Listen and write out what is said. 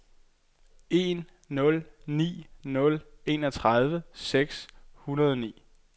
en nul ni nul enogtredive seks hundrede og ni